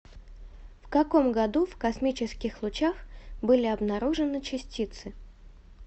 в каком году в космических лучах были обнаружены частицы